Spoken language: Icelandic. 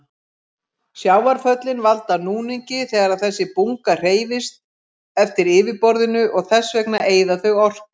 Sjávarföllin valda núningi þegar þessi bunga hreyfist eftir yfirborðinu og þess vegna eyða þau orku.